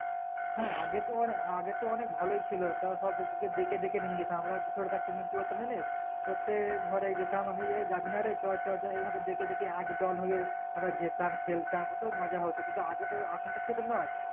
হ্যাঁ আগে তোমানে আগে তো অনেক ভালোই ছিল তও সব ডেকে ডেকে নিংগেতাম আমরা ছোটথাকতাম তখন জানিস প্রত্যেক ঘরে যেতাম এ যাবিনা রে এই ভাবে ডেকে ডেকে একদল হয়ে আবার যেতাম খেলতাম কত মজা হতো কিন্তু আগেতো এখন তো সেরকম নোই